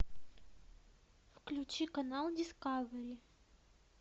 включи канал дискавери